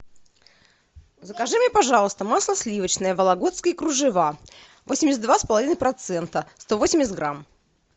закажи мне пожалуйста масло сливочное вологодские кружева восемьдесят два с половиной процента сто восемьдесят грамм